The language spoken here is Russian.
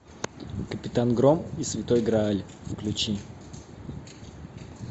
капитан гром и святой грааль включи